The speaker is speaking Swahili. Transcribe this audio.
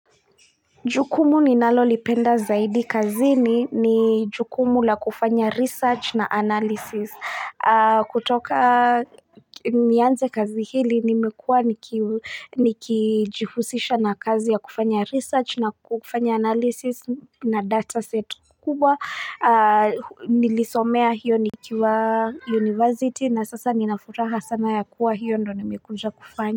Jukumu ni nalolipenda zaidi kazini ni jukumu la kufanya research na analysis kutoka nianze kazi hili nimekua nikijihusisha na kazi ya kufanya research na kufanya analysis na data set kubwa nilisomea hiyo nikiwa university na sasa ninafuraha sana ya kuwa hiyo ndo nimekuja kufanya.